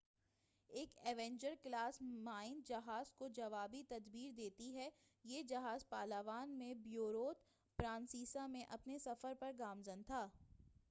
ایک Avenger class mine جہاز کو جوابی تدبیر دیتی ہے یہ جہاز پالاوان میں پیورتو پرنسیسا میں اپنے سفر پر گامزن تھا